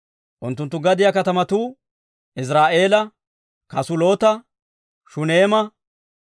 Unttunttu gadiyaa katamatuu Iziraa'eela, Kasuloota, Shuneema,